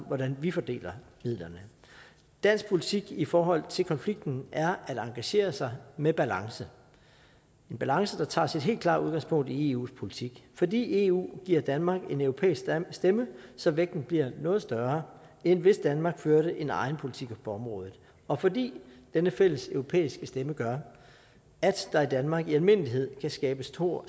hvordan vi fordeler midlerne dansk politik i forhold til konflikten er at engagere sig med balance en balance der tager sit helt klare udgangspunkt i eus politik fordi eu giver danmark en europæisk stemme så vægten bliver noget større end hvis danmark førte en egen politik på området og fordi denne fælleseuropæiske stemme gør at der i danmark i almindelighed kan skabes stor